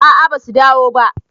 a a basu dawo ba